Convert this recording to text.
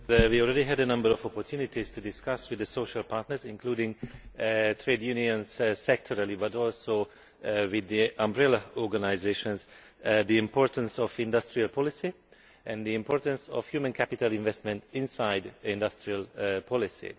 We already had a number of opportunities to discuss with the social partners, including trade unions sectorally but also with the umbrella organisations, the importance of industrial policy and the importance of human capital investment inside industrial policy.